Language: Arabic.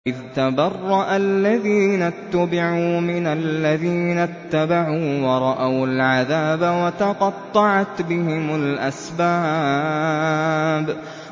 إِذْ تَبَرَّأَ الَّذِينَ اتُّبِعُوا مِنَ الَّذِينَ اتَّبَعُوا وَرَأَوُا الْعَذَابَ وَتَقَطَّعَتْ بِهِمُ الْأَسْبَابُ